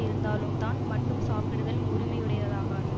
இருந்தாலும் தான் மட்டும் சாப்பிடுதல் முறைமையுடையதாகாது